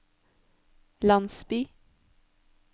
landsby